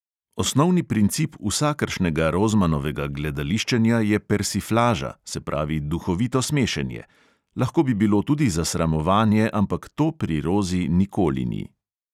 Osnovni princip vsakršnega rozmanovega gledališčenja je persiflaža, se pravi duhovito smešenje; lahko bi bilo tudi zasramovanje, ampak to pri rozi nikoli ni.